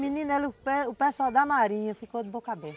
Menina, o pe pe pessoal da marinha ficou de boca aberta.